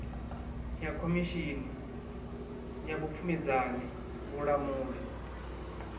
ya khomishini ya vhupfumedzani vhulamuli